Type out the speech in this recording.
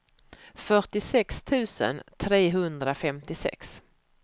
fyrtiosex tusen trehundrafemtiosex